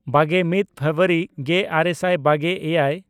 ᱵᱟᱜᱮᱼᱢᱤᱫ ᱯᱷᱮᱵᱨᱩᱣᱟᱨᱤ ᱜᱮᱼᱟᱨᱮ ᱥᱟᱭ ᱵᱟᱜᱮᱼᱮᱭᱟᱭ